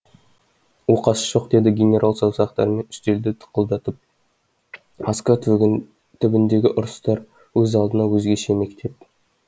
оқасы жоқ деді генерал саусақтарымен үстелді тықылдатып москва түбіндегі ұрыстар өз алдына өзгеше мектеп